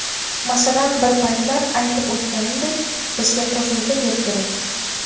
Masalan, bir paytlar aytib o‘tganimdek, bizga qo‘shimcha yer kerak.